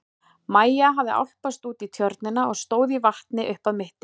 Maja hafði álpast út í tjörnina og stóð í vatni upp að mitti.